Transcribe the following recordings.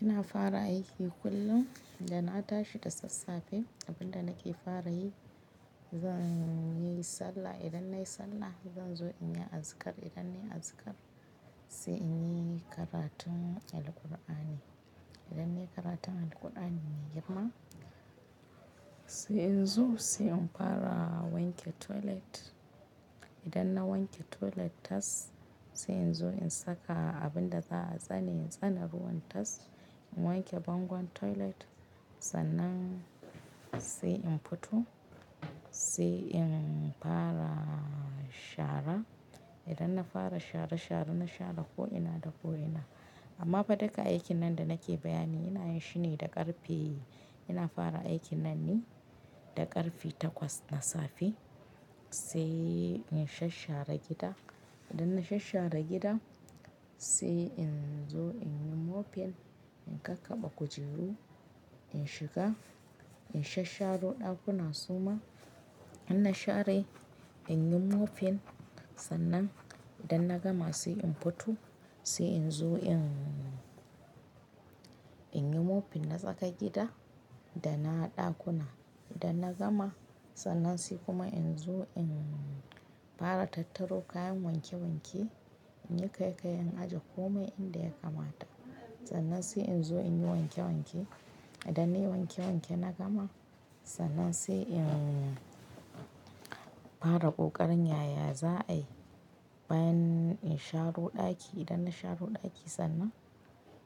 Ina fara aiki kullum idan na tashi da sassafe abin da nake fara yi zan yi sallah idan nayi sallah zan zo in yi azikar idan nayi azikar sai in yi karatun Alqur'ani idan nayi karatun Alqur'ani girma sai in zo sai in fara wanke toilet idan na wanke toilet tas sai in zo in saka abinda za'a tsani in tsana ruwan tas in wanke bangon toilet sannan sai in fito sai in fara shara idan na fara shara shara na shara ko ina da ko ina amma fa duka aikin nan da nake bayani ina yin shi ne da ƙarfe ina fara aikin nan ne da ƙarfe takwas na safe sai in shashara gida idan na shashara gida sai in zo in yi mofen in kakkaɓa kujeru in shiga in shasharo ɗakuna suma idan na share in yi mofen sannan idan na gama sai in fito sai in zo in in yi mofen na tsaka gida da na ɗakuna idan na gama sannan sai kuma in zo in fara tattaro kayan wanke wanke in yi kayi kayen ajiye komai inda ya kamata sannan sai in zo in yi wanke wanke idan nayi wanke wanke na gama sannan sai in fara ƙoƙarin yaya za ai bayan in sharo ɗaki idan na sharo ɗaki sannan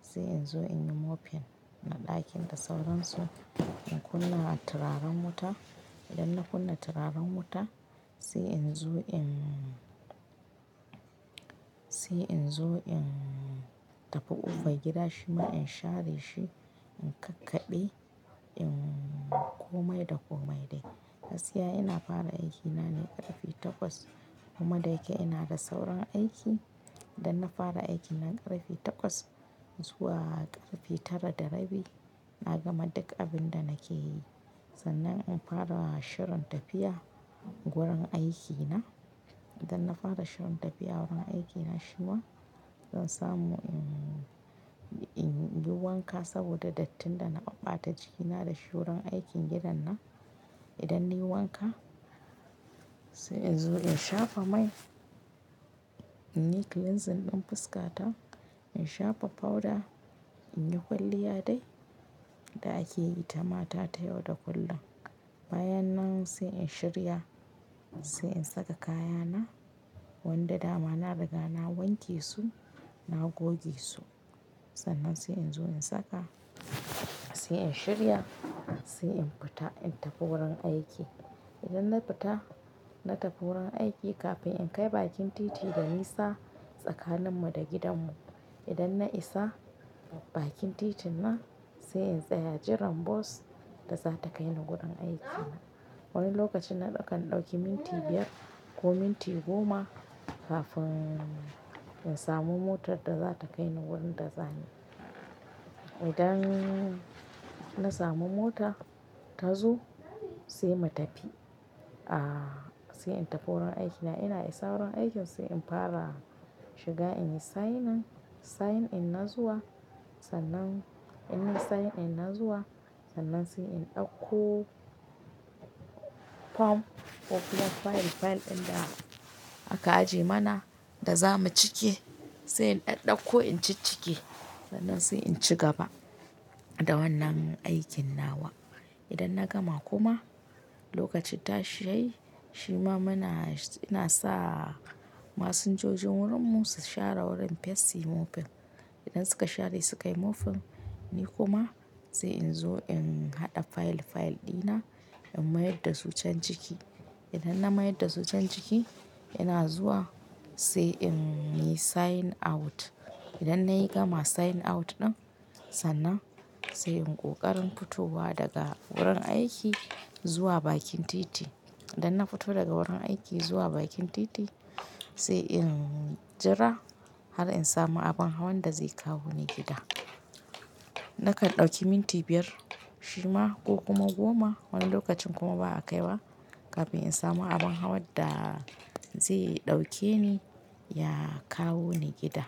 sai in zo in yi mofen na ɗakin da sauran su in kunna turaren wuta idan na kunna turaren wuta sai in zo in sai in zo in tafi ƙofar gida shima in share shi in kakkaɓe in komai da komai dai. Gaskiya ina fara aikina ne ƙarfe takwas kuma da yake ina da sauran aiki idan na fara aiki na ƙarfe takwas in zuwa ƙarfe tara da rabi na gama duk abin da nake yi sannan in fara shirin tafiya wurin aikina idan na fara shirin tafiya wurin aikina shima zan samu in yi wanka saboda dattin da na ɓata jikina da shuran aikin gidan nan idan nayi wanka sai in zo in shafa mai in yi cleansing ɗin fuska ta in shafa powder in yi kwalliya dai da ake yi ta mata ta yau da kullum bayan nan sai in shirya sai in saka kayana wanda dama na riga na wanke su na goge su sannan sai in zo in saka sai in shirya sai in fita in tafi wurin aiki idan na fita na tafi wurin aiki kafin in kai bakin titi da nisa tsakanin mu da gidan mu idan na isa bakin titin nan sai in tsaya jiran bus da za ta kai ni wurin aikina wani lokacin na ɗauki minti biyar ko minti goma kafin in samu motar da za ta kai ni wurin da zani idan na samu mota ta zo sai mu tafi ah sai in tafi wurin aikina ina yi sauran aikin sai in fara shiga in yi sign in sign in na zuwa sannan in yi sign in na zuwa sannan sai in ɗauko form popular file file ɗin da aka ajiye mana da za mu cike sai in ɗaɗɗako in ci cike sannan sai in ci gaba da wannan aikin nawa idan na gama kuma lokacin ta shai shima muna ina sa masinjojin wurin mu su share wurin feshi mofen idan suka share suka yi mofen ni kuma sai in zo in haɗa file file ɗina in mayar da su can ciki idan na mayar da su can ciki ina zuwa sai in yi sign out idan nayi gama sign out ɗin sannan sai in ƙoƙarin fitowa daga wurin aiki zuwa bakin titi idan na fito daga wurin aiki zuwa bakin titi sai in jira har in samu abin hawan da zai kawo ni gida nakan ɗauki minti biyar shima ko kuma goma wani lokacin kuma ba a kai ba kafin in samu abin hawan da zai ɗauke ni ya kawo ni gida.